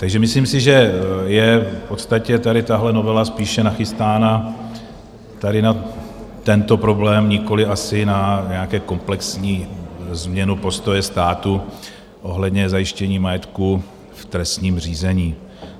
Takže myslím si, že je v podstatě tady tahle novela spíše nachystána tady na tento problém, nikoliv asi na nějakou komplexní změnu postoje státu ohledně zajištění majetku v trestním řízení.